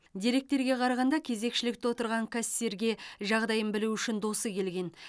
деректерге қарағанда кезекшілікте отырған кассирге жағдайын білу үшін досы келген